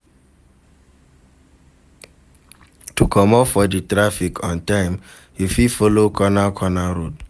To comot for di traffic on time you fit follow corner corner road